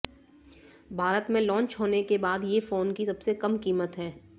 भारत में लॉन्च होने के बाद ये फोन की सबसे कम कीमत है